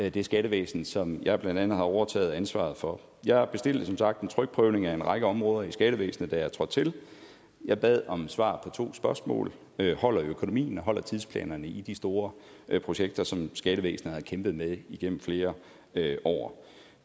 i det skattevæsen som jeg blandt andet har overtaget ansvaret for jeg bestilte som sagt en trykprøvning af en række områder i skattevæsenet da jeg trådte til jeg bad om svar to spørgsmål holder økonomien og holder tidsplanerne i de store projekter som skattevæsenet har kæmpet med igennem flere år